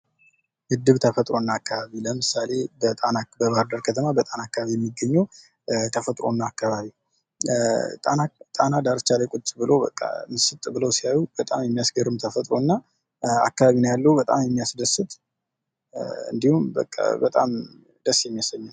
ተፈጥሮና አካባቢ አሁን ለምሳሌ በባህር ዳር በጣና አካባቢ የሚገኙ ተፈጥሮ እና አካባቢ ጣና አካባቢ ቁጭ ብለው ምስጥ ብለው ሲያዩ በጣም የሚያስገርም ፣የሚያስደስት አካባቢ ነዉ ።